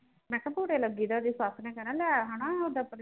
ਮੈਂ ਕਿਹਾ ਬੁਰੇ ਲੱਗੀਦਾ ਉਸਦੀ ਸੱਸ ਨੇ ਕਹਿਣਾ ਲੈ ਹਣਾ ਉਦਾਂ ਭਰਜਾਈ